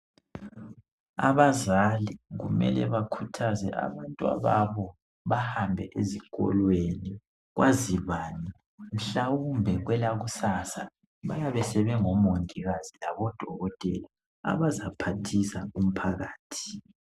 Abazali kumele bakhuthaze abantwababo bahambe ezikolweni kwazi bani mhlawumbe kwelakusasa bayabe sebengomongikazi labodokotela abazaphathisa umphakathi.